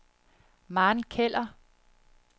Maren Keller